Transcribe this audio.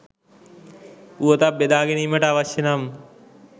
පුවතක් බෙදා ගැනීමට අවශ්‍ය නම්